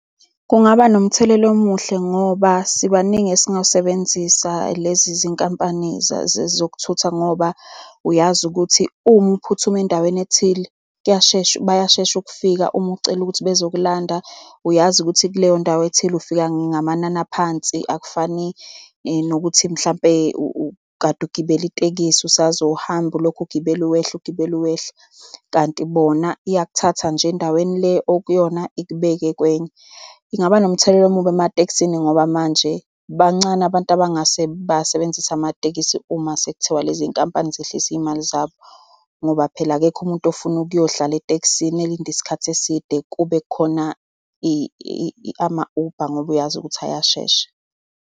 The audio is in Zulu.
Kungaba nomthelela omuhle, ngoba sibaningi esingazisebenzisa lezi zinkampani zokuthutha, ngoba uyazi ukuthi uma uphuthume endaweni ethile kuyashesha, bayashesha ukufika, uma ucela ukuthi bezokulanda. Uyazi ukuthi kuleyo ndawo ethile ufika ngamanani aphansi, akufani nokuthi mhlampe ukade ugibela itekisi. Usazohamba ulokhu ugibela wehla, ugibela wehla. kanti bona, iyakuthatha nje endaweni le okuyona ikubeke kwenye. Ingaba nomthelela omubi ematekisini, ngoba manje bancane abantu abangase basebenzise amatekisi uma sekuthiwa lezi iy'nkampani zehlise iy'mali zabo. Ngoba phela akekho umuntu ofuna ukuyodlala etekisini elinde isikhathi eside, kube kukhona ama-Uber, ngoba uyazi ukuthi ayashesha.